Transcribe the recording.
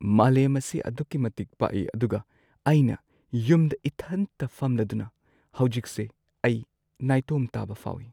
ꯃꯥꯂꯦꯝ ꯑꯁꯤ ꯑꯗꯨꯛꯀꯤ ꯃꯇꯤꯛ ꯄꯥꯛꯏ ꯑꯗꯨꯒ ꯑꯩꯅ ꯌꯨꯝꯗ ꯏꯊꯟꯇ ꯐꯝꯂꯗꯨꯅ ꯍꯧꯖꯤꯛꯁꯦ ꯑꯩ ꯅꯥꯏꯇꯣꯝ ꯇꯥꯕ ꯐꯥꯎꯋꯤ꯫